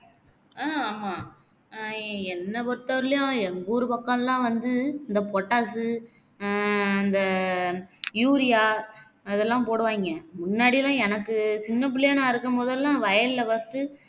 ஆஹ் ஆமா அஹ் என்ன பொருத்தவரைலேயும் எங்க ஊரு பக்கம்லாம் வந்து இந்த potash உ ஆஹ் இந்த urea அதெல்லாம் போடுவாங்க முன்னாடியெல்லாம் எனக்கு சின்னபிள்ளையா நான் இருக்கும் போதெல்லாம் வயல்ல first